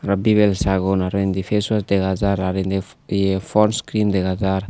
arw bibel sabgon arw indi feswas dega jar arw indi ye pons cream dega jar.